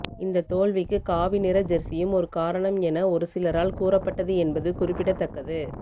இந்த தோல்விக்கு காவி நிற ஜெர்ஸியும் ஒரு காரணம் என ஒருசிலரால் கூறப்பட்டது என்பது குறிப்பிடத்தக்கது